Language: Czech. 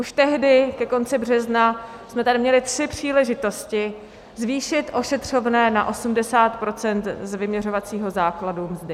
Už tehdy ke konci března jsme tady měli tři příležitosti zvýšit ošetřovné na 80 % z vyměřovacího základu mzdy.